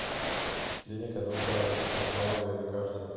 клиника доктора асмаевой на карте